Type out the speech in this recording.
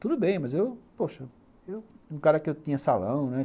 Tudo bem, mas eu, poxa... Eu, um cara que eu tinha salão, né?